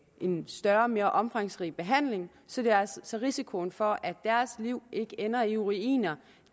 en større og mere omfangsrig behandling så så risikoen for at deres liv ender i ruiner